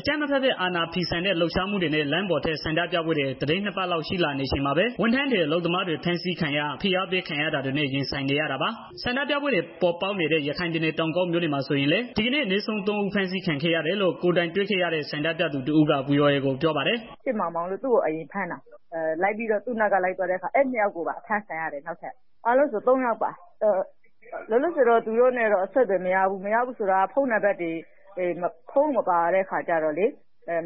အကြမ်းမဖက်ပဲ အာဏာဖီဆန်တဲ့ လှုပ်ရှားမှုတွေနဲ့ လမ်းပေါ်ထွက် ဆန္ဒပြပွဲတွေ သီတင်း ၂ ပတ်လောက် ရှိလာနေချိန်မှာပဲ ဝန်ထမ်းတွေ၊ အလုပ်သမားတွေ ဖမ်းဆီးခံရ၊ ဖိအားပေး ခံရတာတွေနဲ့ ရင်ဆိုင်နေရတာပါ။ ဆန္ဒပြပွဲတွေ ပေါ်ပေါက်နေတဲ့ ရခိုင်ပြည်နယ် တောင်ကုတ်မြို့မှာဆိုရင်လည်း ဒီကနေ့ အနည်းဆုံး ၃ ဦး ဖမ်းဆီးခံခဲ့ရတယ်လို့ ကိုယ်တိုင်တွေ့ခဲ့ရတဲ့ ဆန္ဒပြသူတယောက်က ဗွီအိုအေကို ပြောပါတယ်။ “ချစ်မောင်မောင်၊ သူ့ကို အရင်ဖမ်းတာ နောက်ပြီးတော့ သူနောက်က လိုက်သွားတဲ့ နှစ်ယောက်ကိုပါ ထပ်ဖမ်းတယ်။ အားလုံးဆိုရင်တော့ သုံးယောက်ပါ။ လောလောဆယ်မှာ တော့ သူတို့နဲ့ အဆက်အသွယ်မရဘူး မရဘူးဆိုတာက ဖုန်းမပါတဲ့ အခါကတော့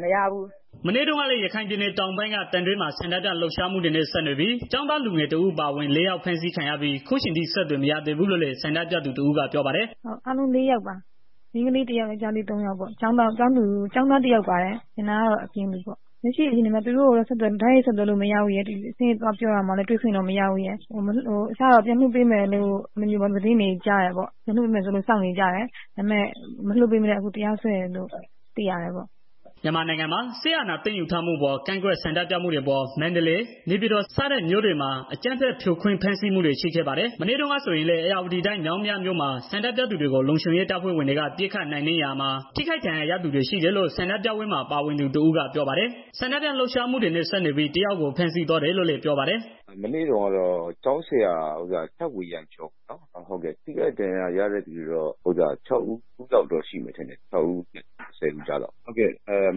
မရဘူး။” မနေ့တုန်းကလည်း ရခိုင်ပြည်နယ် တောင်ပိုင်းက သံတွဲမြို့မှာ ဆန္ဒပြလှုပ်ရှားမှုတွေနဲ့ ဆက်နွယ်ပြီး ကျောင်းသားလူငယ် ၁ ဦး အပါအဝင် ၄ ယောက် ဖမ်းဆီးခံရပြီး အခုအချိန်ထိ အဆက်အသွယ် မရသေးဘူးလို့လည်း ဆန္ဒပြသူတစ်ဦးကပြောပါတယ်။ သံတွဲဆန္ဒထုတ်ဖော်ရာမှာပါဝင်သူ တစ်ဦးအသံ။ “ အားလုံးလေးယောက်ပါ မိန်းကလေးတယောက် ယောက်ျားလေး သုံးယောက်ပေါ့ ကျောင်းသားတစ်ယောက်ပါတယ်။ ကျန်တာကတော့ အပြင်သူတွေပါ။ လက်ရှိမှာတော့ သူတို့ကို ဆက်သွယ်လို့မရပါဘူး။ အစကတော့ ပြန်လွတ်ပေးမယ်လို့ ပြောတယ်။ အခုကတော့ မလွတ်ဘဲနဲ့ တရားစွဲတယ်လို့ ပြောသံကြားတယ်။” မြန်မာနိုင်ငံမှာ စစ်အာဏာသိမ်းယူထားမှုအပေါ် ကန့်ကွက်ဆန္ဒပြမှုတွေအပေါ် မန္တလေး၊ နေပြည်တော် စတဲ့မြို့တွေမှာ အကြမ်းဖက် ဖြိုခွင်းဖမ်းဆီးမှုတွေ ရှိခဲ့ပါတယ်။ မနေ့တုန်းက ဆိုရင်လည်း ဧရာဝတီတိုင်း မြောင်းမြမြို့မှာ ဆန္ဒပြသူတွေကို လုံခြုံရေးတပ်ဖွဲ့တွေက ပစ်ခတ်နိုင်နှင်းရာမှာ ထိခိုက်ဒဏ်ရာရသူတွေရှိတယ်လို့ ဆန္ဒပြပွဲမှာ ပါဝင်သူတစ်ဦး ကပြောပါတယ်။ ဆန္ဒပြလှုပ်ရှားမှုတွေနဲ့ ဆက်နွယ်ပြီး ၁ ယောက်ကို ဖမ်းဆီးသွားတယ်လို့လည်း ပြောပါတယ်။ “မနေ့ကတော့ ကျောင်းဆရာတဦး အဖမ်းခံရတယ်။ ဒဏ်ရာရတာကတော့ ၆ဦးနဲ့ ဆယ်ဦး ကြားလောက်ရှိတယ်။ ဒဏ်ရာအခြေအနေကတော့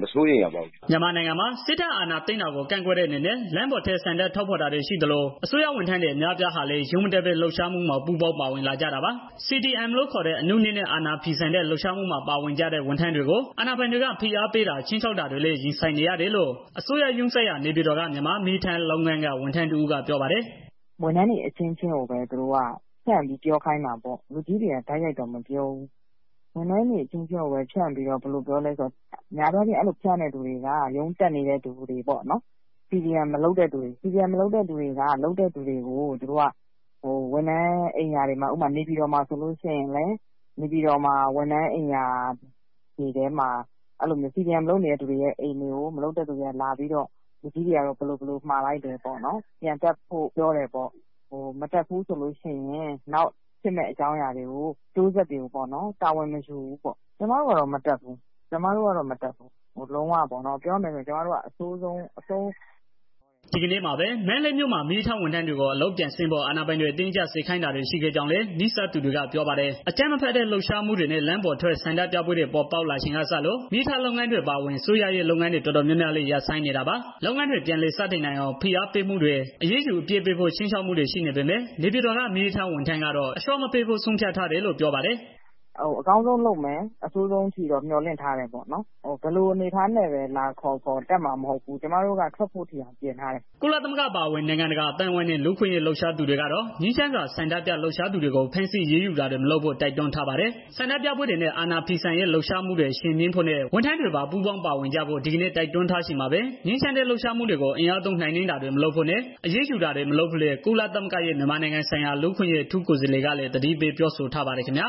မစိုးရိမ်ရပါဘူးခင်မျာ။” မြန်မာနိုင်ငံမှာ စစ်တပ်အာဏာသိမ်းတာကို ကန့်ကွက်တဲ့အနေနဲ့ လမ်းပေါ်ထွက် ဆန္ဒထုတ်ဖော်တာတွေရှိသလို အစိုးရဝန်ထမ်းတွေ အများအပြားဟာလည်း ရုံးမတက်ပဲ လှုပ်ရှားမှုမှာ ပူးပေါင်းပါဝင်လာကြတာပါ။ CDM လို့ခေါ်တဲ့ အနုနည်းနဲ့ အာဏာဖီဆန်တဲ့ လှုပ်ရှားမှုမှာ ပါဝင်ကြတဲ့ ဝန်ထမ်းတွေကို အာဏာပိုင်တွေက ဖိအားပေးတာ ခြိမ်းခြောက်တာတွေနဲ့လည်း ရင်ဆိုင်နေရတယ်လို့ အစိုးရရုံးစိုက်ရာ နေပြည်တော်က မြန်မာ့မီးရထားလုပ်ငန်းက ဝန်ထမ်းတဦးကပြောပါတယ်။ “ဝန်ထမ်းတွေ အချင်းချင်းကိုပဲ သူတို့က ဖြန့်ပြီးတော့ ပြောခိုင်းတာပေါ့ လူကြီးတွေကတော့ တိုက်ရိုက်မပြောဘူး။ များသောအားဖြင့် အဲလို ဖြန့်တဲ့သူတွေက ရုံးတက်နေတဲ့သူတွေ CDM မလုပ်တဲ့သူတွေ လုပ်တဲ့သူတွေက ဝန်ထမ်းအိမ်ရာတွေမှာ ဥပမာ နေပြည်တော်မှာဆိုရင် CDMလုပ်နေတဲ့ သူတွေရဲ့ အိမ်တွေကို မလုပ်တဲ့သူတွေက လာပြီးတော့ လူကြီးတွေကတော့ ဘယ်လိုဘယ်လိုမှာလိုက်တယ်။ ရုံးပြန်တက်ဖို့ မှာတယ်။ မတက်လို့ရှိရင် နောက်ဖြစ်လာမယ့် အကျိုးဆက်တွေကို တာဝန်မယူဘူးပေါ့နော်။” ဒီကနေ့မှာပဲ မန္တလေးမြို့မှာ မီးရထားဝန်ထမ်းတွေကို အလုပ်ပြန်ဆင်းဖို့ အာဏာပိုင်တွေ အတင်းအကျပ်စေခိုင်းတာတွေ ရှိခဲ့ကြောင်းလည်း နီးစပ်သူတွေက ပြောပါတယ်။ အကြမ်းမဖက်တဲ့ လှုပ်ရှားမှုတွေနဲ့ လမ်းပေါ်ထွက်ဆန္ဒပြပွဲတွေ ပေါ်ပေါက်ချိန်ကစလို့ မီးရထားလုပ်ငန်းတွေ အပါအဝင် အစိုးရရဲ့ လုပ်ငန်းတွေ တော်တော်များများလည်း ရပ်ဆိုင်းနေတာပါ။ လုပ်ငန်းတွေ ပြန်လည်စတင်နိုင်အောင် ဖိအားပေးမှုတွေ၊ အရေးယူအပြစ်ပေးဖို့ ခြိမ်းခြောက်မှုတွေ ရှိနေပေမဲ့ နေပြည်တော်က မီးရထားဝန်ထမ်းကတော့ အလျှော့မပေးဖို့ ဆုံးဖြတ်ထားတယ်လို့ ပြောပါတယ်။ “ ကျမတို့ကတော့ မတက်ဘူး လုံးဝမတက်ဘူး ပြောရမယ်ဆိုရင်ပေါ့နော် ကျမတို့က အကောင်းဆုံးလုပ်တယ်။ အဆိုးဆုံး အခြေအနေကိုလည်း ကြိုတွက်ထားတယ်။ ဘယ်လိုအနေအထားနဲ့ လာခေါ်ခေါ် တက်မှာမဟုတ်ဘူး ကျမတို့က ထွက်ဖို့အထိ ပြင်ဆင်ထားတယ်။” ကုလသမဂ္ဂ အပါအဝင် နိုင်ငံတကာ အသိုင်းအဝန်းနဲ့ လူ့အခွင့်အရေး လှုပ်ရှားသူတွေကတော့ ငြိမ်းချမ်းစွာ ဆန္ဒပြလှုပ်ရှားသူတွေကို ဖမ်းဆီးအရေးယူတာတွေ မလုပ်ဖို့ တိုက်တွန်းထားပါတယ်။ ဆန္ဒပြပွဲတွေနဲ့ အာဏာဖီဆန်ရေးလှုပ်ရှားမှုတွေ အရှိန်မြင့်ဖို့နဲ့ ဝန်ထမ်းတွေပါ ပူးပေါင်းပါဝင်ကြဖို့ ဒီကနေ့ တိုက်တွန်းထားချိန်မှာပဲ ငြိမ်းချမ်းတဲ့ လှုပ်ရှားမှုတွေကို အင်အားသုံးနှိမ်နင်းတာတွေ မလုပ်ဖို့နဲ့ အရေးယူတာတွေ မလုပ်ဖို့လည်း ကုလသမဂ္ဂရဲ့ မြန်မာနိုင်ငံဆိုင်ရာ လူ့အခွင့်အရေး အထူးကိုယ်စားလှယ်ကလည်း သတိပေးပြောဆိုထားပါတယ်ခင်ဗျာ